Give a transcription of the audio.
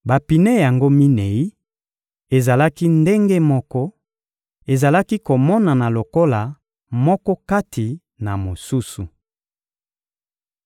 Bapine yango minei ezalaki ndenge moko, ezalaki komonana lokola moko kati na mosusu.